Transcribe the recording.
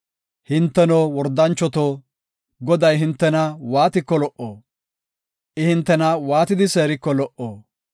Hinteno, wordanchoto, Goday hintena waatiko lo77o? I hintena waatidi seeriko lo77o?